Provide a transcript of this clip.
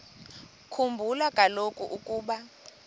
khumbula kaloku ukuba